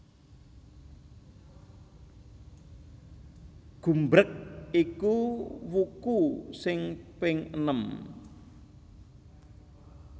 Gumbreg iku wuku sing ping enem